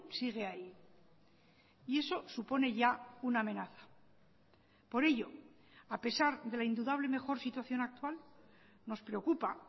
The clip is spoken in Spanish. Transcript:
sigue ahí y eso supone ya una amenaza por ello a pesar de la indudable mejor situación actual nos preocupa